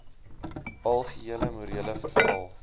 algehele morele verval